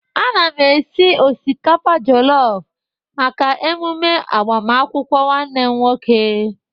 Ana m esi osikapa jọlọfu maka emume agbamakwukwọ nwanne m nwoke.